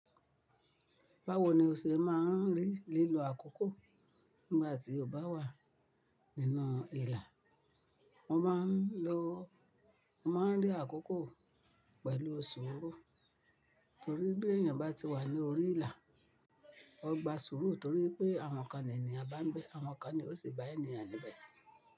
Báwo ni o ṣe má a ń rí lílo àkókò nígbà tí o bá wà nínú ìlà? Mo má a ń lo, mo má a ń rí àkókò pẹ̀lú sùúrù torí bí èèyàn bá ti wà ní orí ìlà, o gba sùúrù torí pé àwọn kan ni ènìyàn bá ń bẹ́, àwọn kan ni ó sì bá èèyàn níbẹ̀.